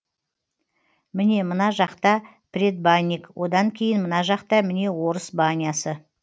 міне мына жақта предбанник одан кейін мына жақта міне орыс банясы